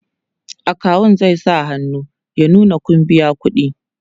akawu zai sa hannu ya nuna Kun biya ƙuɗi